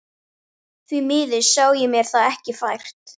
Því miður sá ég mér það ekki fært.